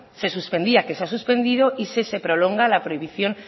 se suspendía que se ha suspendido y si se prolonga la prohibición